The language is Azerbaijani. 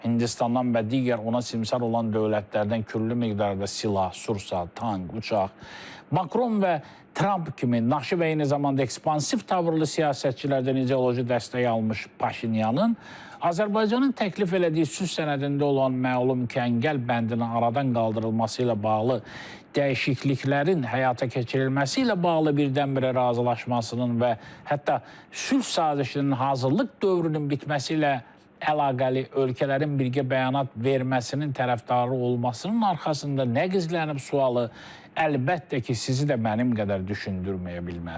Hindistandan və digər ona simsar olan dövlətlərdən külli miqdarda silah, sursat, tank, uçaq, Makron və Tramp kimi naşı və eyni zamanda ekspansiv tavırlı siyasətçilərdən ideoloji dəstək almış Paşinyanın Azərbaycanın təklif elədiyi sülh sənədində olan məlum kəngəl bəndinin aradan qaldırılması ilə bağlı dəyişikliklərin həyata keçirilməsi ilə bağlı birdənbirə razılaşmasının və hətta sülh sazişinin hazırlıq dövrünün bitməsi ilə əlaqəli ölkələrin birgə bəyanat verməsinin tərəfdarı olmasının arxasında nə gizlənib sualı, əlbəttə ki, sizi də mənim qədər düşündürməyə bilməzdi.